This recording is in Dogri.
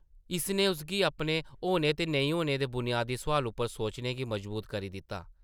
इसने उसगी अपने होने ते नेईं होने दे बुनयादी सोआल उप्पर सोचने गी मजबूर करी दित्ता ।